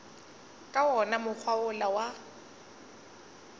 ka wona mokgwa wola wa